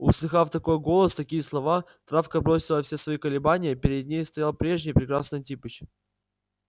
услыхав такой голос такие слова травка бросила все свои колебания перед ней стоял прежний прекрасный антипыч